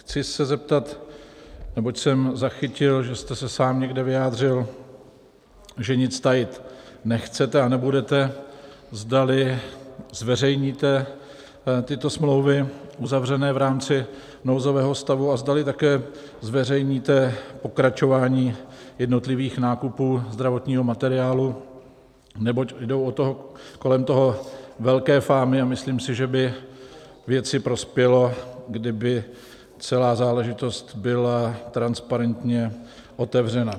Chci se zeptat, neboť jsem zachytil, že jste se sám někde vyjádřil, že nic tajit nechcete a nebudete, zdali zveřejníte tyto smlouvy uzavřené v rámci nouzového stavu a zdali také zveřejníte pokračování jednotlivých nákupů zdravotního materiálu, neboť jdou kolem toho velké fámy a myslím si, že by věci prospělo, kdyby celá záležitost byla transparentně otevřena.